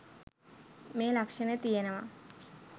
මේ ලක්ෂණය තියෙනවා.